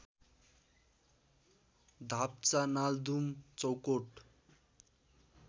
Dapcha Naldum Chaukot